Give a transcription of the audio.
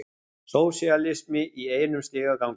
Sósíalismi í einum stigagangi.